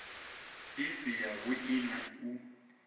i si yavhui na u